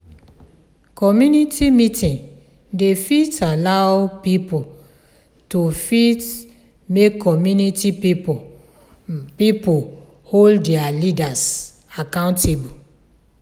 community meeting dey fit allow pipo to fit make community pipo pipo hold their leaders accountable